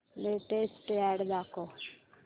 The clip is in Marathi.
लेटेस्ट अॅड दाखव